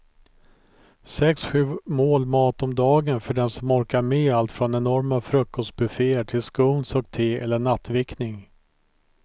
Sex, sju mål mat om dagen för den som orkar med allt från enorma frukostbufféer till scones och te eller nattvickning.